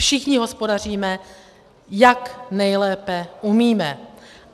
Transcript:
Všichni hospodaříme, jak nejlépe umíme.